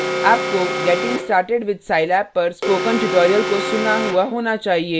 आपको getting started with scilab पर spoken tutorial को सुना हुआ होना चाहिए